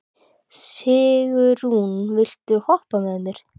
Sigurunn, viltu hoppa með mér?